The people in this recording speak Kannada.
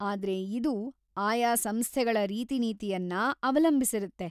ಆದ್ರೆ ಇದು ಆಯಾ ಸಂಸ್ಥೆಗಳ ರೀತಿನೀತಿಯನ್ನ ಅವಲಂಬಿಸಿರತ್ತೆ.